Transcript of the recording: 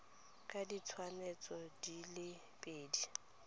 ka ditshwantsho di le pedi